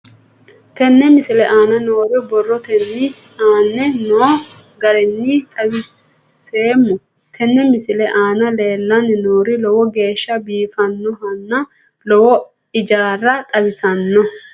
Tenne misile aana noore borrotenni aane noo garinni xawiseemo. Tenne misile aana leelanni nooerri lowo geeshsha biifanohanna lowo ijaara xawissanno.